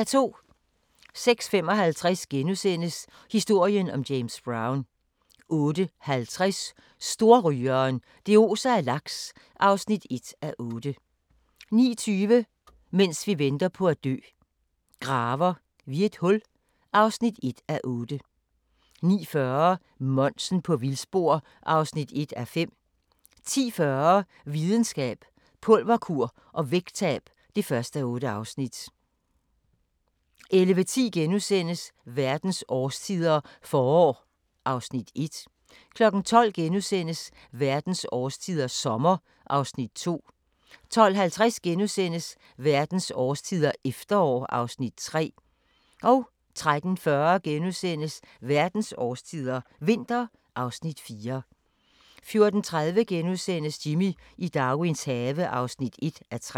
06:55: Historien om James Brown * 08:50: Storrygeren – det oser af laks (1:8) 09:20: Mens vi venter på at dø – Graver vi et hul (1:8) 09:40: Monsen på vildspor (1:5) 10:40: Videnskab: Pulverkur og vægttab (1:8) 11:10: Verdens årstider – forår (Afs. 1)* 12:00: Verdens årstider – sommer (Afs. 2)* 12:50: Verdens årstider – efterår (Afs. 3)* 13:40: Verdens årstider – vinter (Afs. 4)* 14:30: Jimmy i Darwins have (1:3)*